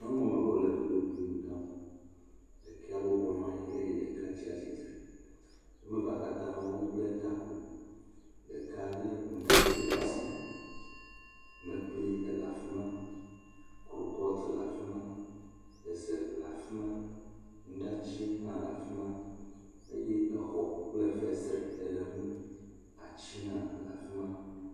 Nyɔnu woame eve wole dzodoƒui nu ɖam. Ɖeka bɔbɔ nɔ anyi, eye ɖeka tsi atsitre. Woame eve katã bla taku, ɖeka lé nuɖati ɖe asi, mekpli le afi ma, kulpoti le afi ma, ze le afi ma, nuɖati hã le afi ma eye xɔ kple fesre le ŋu. Ati hã le afi ma.